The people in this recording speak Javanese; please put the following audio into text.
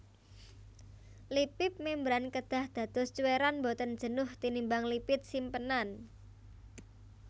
Lipip mémbran kedah dados cuwèran boten jenuh tinimbang lipid simpenan